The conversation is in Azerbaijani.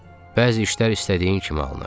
Bəzi işlər istədiyin kimi alınır.